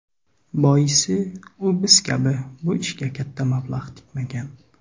Boisi, u biz kabi bu ishga katta mablag‘ tikmagan.